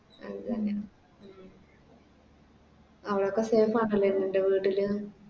അവിടൊക്കെ Safe ആണല്ലേ നിൻറെ വീട്ടില്